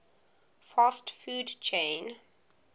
fast food chain